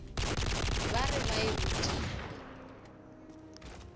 ba re ba e rutilwe